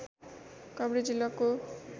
काभ्रे जिल्लाको